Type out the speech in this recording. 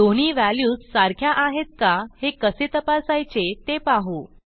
दोन्ही व्हॅल्यूज सारख्या आहेत का हे कसे तपासायचे ते पाहू